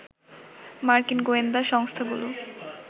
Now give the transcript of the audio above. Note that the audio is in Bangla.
মার্কিন গোয়েন্দা সংস্থাগুলো